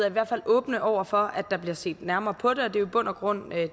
i hvert fald åbne over for at der bliver set nærmere på det og det er jo i bund og grund